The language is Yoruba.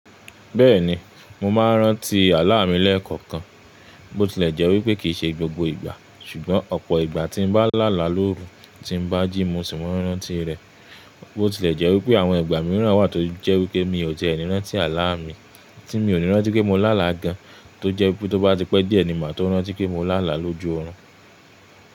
Bẹ́ẹ̀ni, mo máa ń rántí àlá mi lẹ́ẹ̀kọ̀kan. Bó tilẹ̀ jẹ́ wípé kìí ṣe gbogbo ìgbà, ṣùgbọ́n ọ̀pọ̀ ìgbà tí n bá lála lóru tí n bá jí mo sì ma rántí rẹ̀. Bó tilẹ̀ jẹ́ wípé àwọn ìgbà mìíràn wà tó jẹ́ wípé mi ò tie ni rántí àlá mi, tí mi ò ní rántí pé mo lála gan, tó jẹ́ wípé tó bá ti pẹ́ díẹ̀ ni màá tó rántí pé mo lála lójú orun.